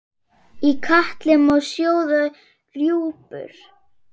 Í katli má sjóða rjúpur?